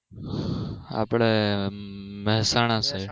આપડે મેહસાણા side